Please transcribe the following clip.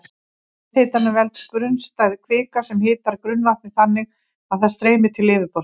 Jarðhitanum veldur grunnstæð kvika sem hitar grunnvatnið þannig að það streymir til yfirborðsins.